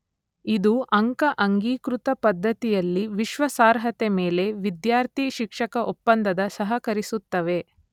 ಇದು ಅಂಕ ಅಂಗೀಕೃತ ಪದ್ಧತಿಯಲ್ಲಿ ವಿಶ್ವಾಸಾರ್ಹತೆ ಮೇಲೆ ವಿದ್ಯಾರ್ಥಿ / ಶಿಕ್ಷಕ ಒಪ್ಪಂದದ ಸಹಕರಿಸುತ್ತವೆ.